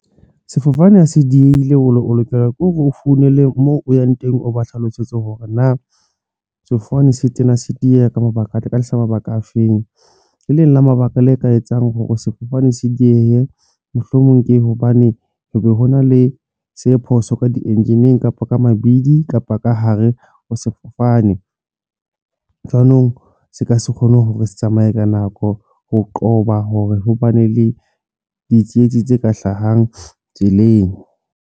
Sefofane ha se diheile o lokela ke hore o founele moo o yang teng, o ba hlalosetse hore na sefofane se tena se dieha ka mabaka afeng le leng la mabaka le e ka etsang hore sefofane se diehe. Mohlomong ke hobane hona le se phoso ka di engineer kapa ka mabidi kapa ka hare ho sefofane jwanong, se ke se kgone hore se tsamaye ka nako ho qoba hore hobane le ditsietsi tse ka hlahang tseleng.